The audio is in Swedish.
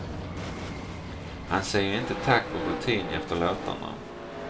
Han säger inte tack på rutin efter låtarna.